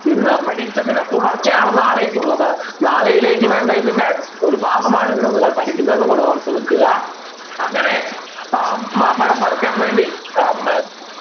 ഇന്ന് പഠിച്ചതിൻ്റെ തുടർച്ചയാണ് നാളേക്ക് ഉള്ളത് നാളെയിലേക്ക് വേണ്ട ഇതിൻ്റെ ഒരു ഭാഗമാണ് ഇന്ന് നിങ്ങൾ പഠിക്കുന്നത് എന്നുകൂടെ ഓർത്ത് വയ്ക്കുക അങ്ങനെ ഏർ മാമ്പഴം പറിക്കാൻ വേണ്ടി ഏർ